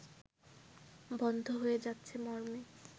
বন্ধ হয়ে যাচ্ছে মর্মে